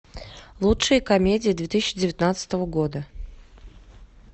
лучшие комедии две тысячи девятнадцатого года